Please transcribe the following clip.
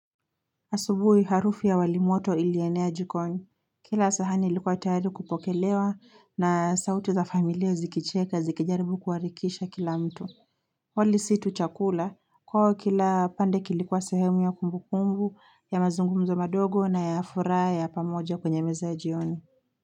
Asubuhi harufi ya wali moto ilienea jikoni, kila sahani ilikuwa tayari kupokelewa na sauti za familia zikicheka zikijaribu kuarikisha kila mtu. Wali si tu chakula kwao kila pande kilikuwa sehemu ya kumbukumbu ya mazungumzo madogo na ya furaha ya pamoja kwenye meza jioni.